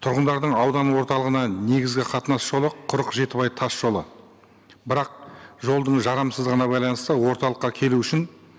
тұрғындардың аудан орталығына негізгі қатынас жолы құрық жетібай тас жолы бірақ жолдың жарамсыздығына байланысты орталыққа келу үшін